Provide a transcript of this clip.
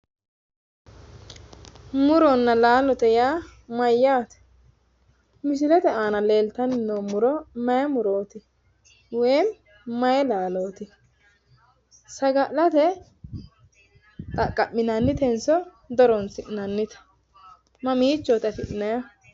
Muronna laalote yaa mayyaate? Misilete aana leeltanni noo muro mayi murooti woyim mayi laalooti? Saga'late xaqqa'minannitenso di horonsi'nannite ? Mamiichooti afi'nannihu?